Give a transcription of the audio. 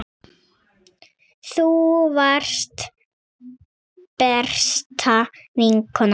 Þú varst besta vinkona mín.